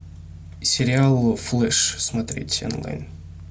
сериал флэш смотреть онлайн